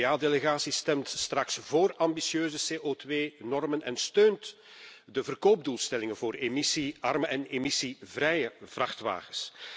De N VA delegatie stemt straks vóór ambitieuze CO2 normen en steunt de verkoopdoelstellingen voor emissiearme en emissievrije vrachtwagens.